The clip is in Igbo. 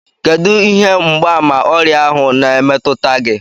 Kedụ ihe mgbaàmà ọrịa ahụ na-emetụta gị?